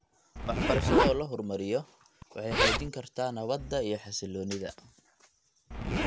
Waxbarashada oo la horumariyo waxay xoojin kartaa nabadda iyo xasilloonida .